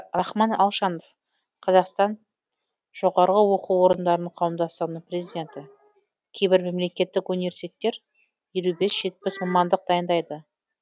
рахман алшанов қазақстан жоғарғы оқу орындарының қауымдастығының президенті кейбір мемлекеттік университеттер елу бес жетпіс мамандық дайындайды